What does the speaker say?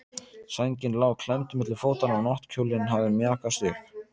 Sængin lá klemmd milli fótanna og náttkjóllinn hafði mjakast upp.